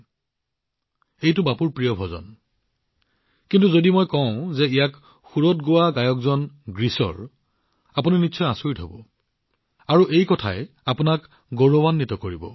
যি কি নহওক এইটো বাপুৰ প্ৰিয় গান কিন্তু যদি মই আপোনালোকক কওঁ যে এই গীতটো গোৱা গায়কসকল গ্ৰীচ দেশৰ আপোনালোক নিশ্চিতভাৱে আচৰিত হব আৰু এইটোৱে আপোনালোকক গৌৰৱেৰে ভৰাই তুলিব